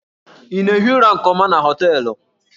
Ị na-ehi ụra nke ọma na hóteélụ̀?